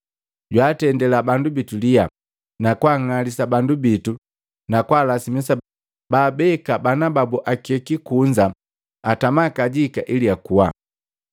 Jwaatendila bandu bitu liya, na kwaang'alisa bandu bitu na kwaalasimisa baabeka bana babu akeki kunza atama kajika ili akua.